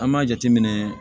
An b'a jateminɛ